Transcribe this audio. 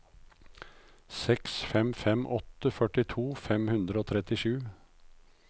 seks fem fem åtte førtito fem hundre og trettisju